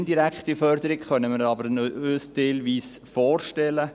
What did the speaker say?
Eine indirekte Förderung können wir uns aber teilweise vorstellen.